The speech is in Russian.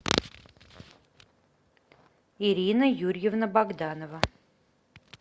ирина юрьевна богданова